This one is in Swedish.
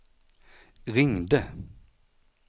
ringde